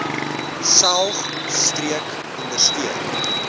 saog streek ondersteun